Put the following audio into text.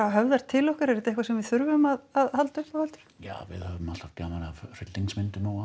höfðar til okkar er þetta eitthvað sem við þurfum að halda upp á heldurðu já við höfum alltaf gaman af hryllingsmyndum og